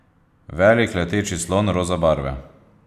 Velik leteči slon roza barve.